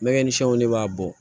Mɛgɛnsɛnw de b'a bɔ